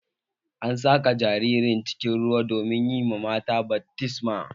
An saka jaririn cikin ruwa domin yi mata baftisma